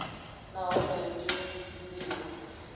nahone a i tei ndivho